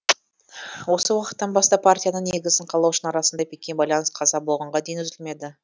осы уақыттан бастап партияның негізін қалаушының арасында бекем байланыс қаза болғанға дейін үзілмеді